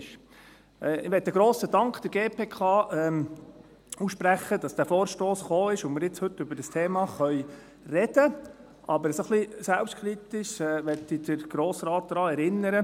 Ich möchte der GPK einen grossen Dank aussprechen, dass dieser Vorstoss gekommen ist und wir heute über dieses Thema sprechen können, aber ein bisschen selbstkritisch möchte ich den Grossen Rat daran erinnern: